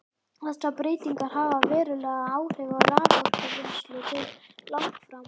Þessar breytingar hafa veruleg áhrif á raforkuvinnslu til langframa.